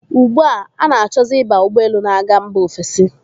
Ugbu a, ọ na-achọzi ịba ụgbọelu na-aga mba ofesi.